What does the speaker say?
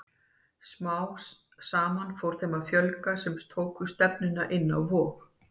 Smám saman fór þeim að fjölga sem tóku stefnuna inn á Vog.